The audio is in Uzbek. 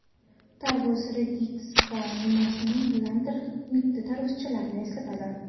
Tarvuz rediska nimasi bilandir mitti tarvuzchalarni eslatadi.